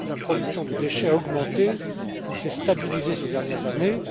La production de déchets a augmenté ou s'est stabilisée ces dernières années.